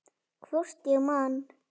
Hvort ég man.